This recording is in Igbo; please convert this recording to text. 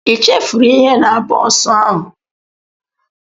Ị chefuru ihe na bọs ahụ?